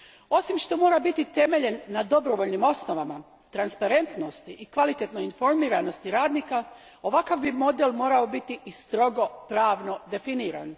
Osim što mora biti temeljen na dobrovoljnim osnovama, transparentnosti i kvalitetnoj informiranosti radnika, ovakav model bi morao biti i strogo pravno definiran.